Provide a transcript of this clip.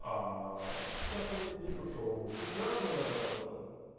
как у меня день прошёл прекрасно